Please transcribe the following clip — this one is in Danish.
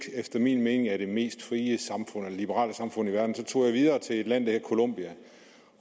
efter min mening er det mest frie eller liberale samfund i verden tog jeg videre til et land der hedder colombia